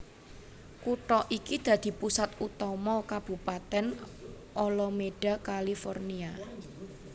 Kutha iki dadi pusat utama Kabupatèn Alameda California